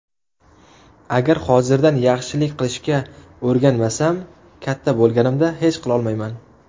Agar hozirdan yaxshilik qilishga o‘rganmasam, katta bo‘lganimda hech qilolmayman.